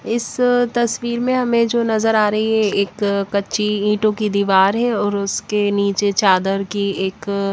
इस तस्वीर में हमें जो नजर आ रही है एक कच्ची ईटों की दीवार है और उसके नीचे चादर की एक--